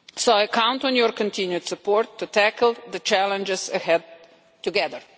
I count on your continued support to tackle the challenges ahead together.